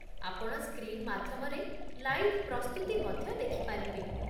ଆପଣ ସ୍କ୍ରିନ୍ ମାଧ୍ୟମରେ ଲାଇଭ୍ ପ୍ରସ୍ତୁତି ମଧ୍ୟ ଦେଖିପାରିବେ।